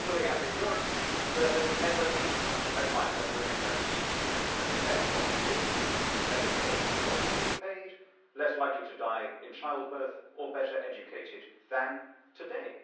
Globally, as in Europe, there has never been a time when women have been better fed, longer lived, better paid, more equally paid, less likely to die in childbirth and better educated than today.